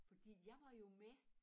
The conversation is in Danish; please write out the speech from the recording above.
Fordi jeg var jo med